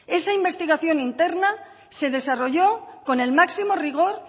esa investigación interna se desarrolló con el máximo rigor